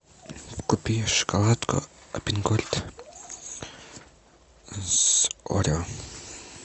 купи шоколадку альпен гольд с орео